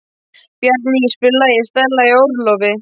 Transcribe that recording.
Bjarný, spilaðu lagið „Stella í orlofi“.